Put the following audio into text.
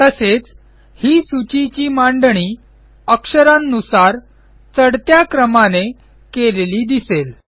तसेच ही सूचीची मांडणी अक्षरांनुसार चढत्या क्रमाने केलेली दिसेल